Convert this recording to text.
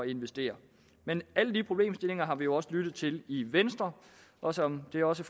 investere men alle de problemstillinger har vi jo også lyttet til i venstre og som det også